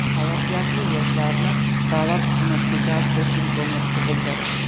salohiyatli yoshlarni davlat xizmatiga jalb qilish imkoniyati tug‘ildi.